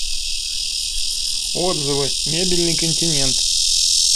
отзывы мебельный континент